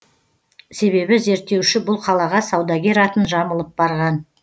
себебі зерттеуші бұл қалаға саудагер атын жамылып барған